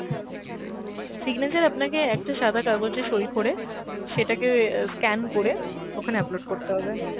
signature আপনাকে একটা সাদা কাগজে সই করে সেটা কে অ্যাঁ scan করে ওখানে upload করতে হবে।